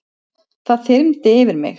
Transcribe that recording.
Það þyrmdi yfir mig.